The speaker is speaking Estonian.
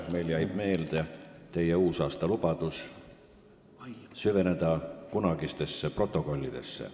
Meile jäi meelde teie uusaastalubadus süveneda kunagistesse protokollidesse.